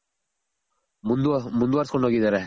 ಮುಂದ್ ಮುಂದ್ ವರ್ಸ್ಕೊಂಡ್ ಹೋಗಿದಾರೆ